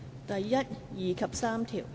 第1、2及3條。